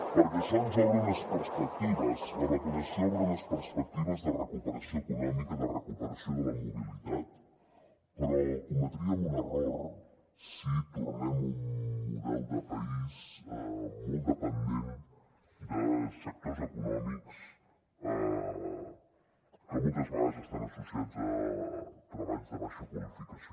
perquè això ens obre unes perspectives la vacunació obre unes perspectives de recuperació econòmica de recuperació de la mobilitat però cometríem un error si tornem a un model de país molt dependent de sectors econòmics que moltes vegades estan associats a treballs de baixa qualificació